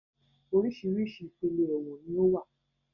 Oríṣiríṣi ipele ẹ̀wọ̀n ni ó wà